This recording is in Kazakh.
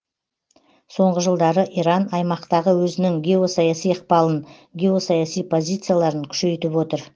соңғы жылдары иран аймақтағы өзінің геосаяси ықпалын геосаяси позицияларын күшейтіп отыр